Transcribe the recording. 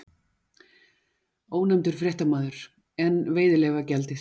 Ónefndur fréttamaður: En veiðileyfagjaldið?